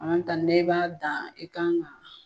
An ta nin ne b'a dan e kan ga